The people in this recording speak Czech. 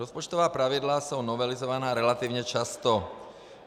Rozpočtová pravidla jsou novelizována relativně často.